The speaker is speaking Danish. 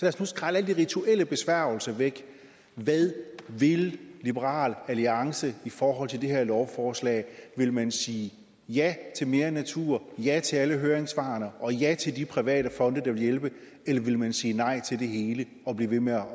os nu skrælle alle de rituelle besværgelser væk og høre hvad vil liberal alliance i forhold til det her lovforslag vil man sige ja til mere natur ja til alle høringssvarene og ja til de private fonde der vil hjælpe eller vil man sige nej til det hele og blive ved med at